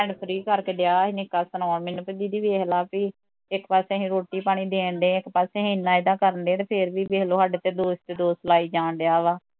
free ਕਰਕੇ ਨਿੱਕਾ ਡਿਆ ਸੀ ਨਿੱਕਾ ਸੁਣਾਉਣ ਮੈਨੂੰ ਵੀ ਦੀਦੀ ਵੇਖਲਾ ਵੀ ਇੱਕ ਪਾਸੇ ਅਸੀਂ ਰੋਟੀ ਪਾਣੀ ਦੇਣ ਡਏ ਇੱਕ ਪਾਸੇ ਏਨਾਂ ਇਹਦਾ ਕਰਨ ਡਏ ਆ ਤੇ ਫੇਰ ਵੀ ਸਾਡੇ ਤੇ ਦੋਸ਼ ਤੇ ਦੋਸ਼ ਲਾਈ ਜਾਣ ਡਿਆ ਵਾਂ